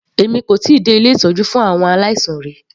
Èmi kò tíì dé ilé ìtọ́jú fún àwọn aláìsàn rí.